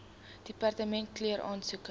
departement keur aansoeke